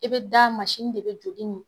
I bɛ da mansin de bɛ joli min